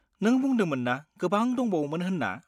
नों बुंदोंमोन ना गोबां दंबावोमोन होन्ना?